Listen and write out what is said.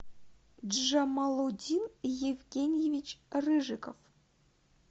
джамалудин евгеньевич рыжиков